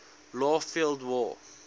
left field wall